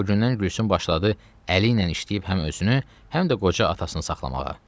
Bu gündən Gülsüm başladı əli ilə işləyib həm özünü, həm də qoca atasını saxlamağa.